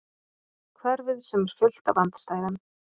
Hverfið sem er fullt af andstæðum.